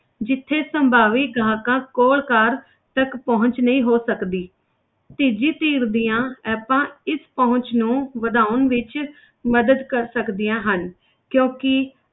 ਜਿੱਥੇ ਸੰਭਾਵੀ ਗਾਹਕਾਂ ਕੋਲ ਕਾਰ ਤੱਕ ਪਹੁੰਚ ਨਹੀਂ ਹੋ ਸਕਦੀ ਤੀਜੀ ਧਿਰ ਦੀਆਂ apps ਇਸ ਪਹੁੰਚ ਨੂੰ ਵਧਾਉਣ ਵਿੱਚ ਮਦਦ ਕਰ ਸਕਦੀਆਂ ਹਨ ਕਿਉਂਕਿ